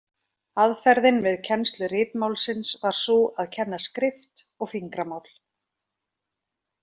Aðferðin við kennslu ritmálsins var sú að kenna skrift og fingramál.